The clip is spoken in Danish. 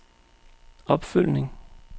opfølgning